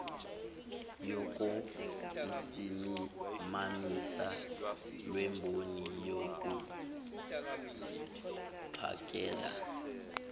yokusimamisa lemboni yokuphakela